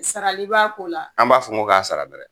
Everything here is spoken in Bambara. Sarali b'a ko la an b'a fɔ ko k'a sara dɛrɛ!